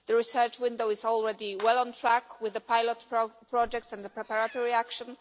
The research window is already well on track with the pilot projects and the preparatory action.